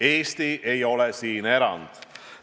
Eesti ei ole siin erand.